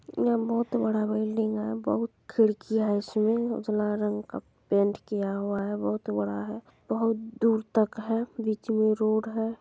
यहाँ बहुत बड़ा बिल्डिंग है बहुत खिड़की है उसमे उजला रंग का पेंट किया हुआ है। बहुत बड़ा है बहुत दूर तक है। बीच में रोड है।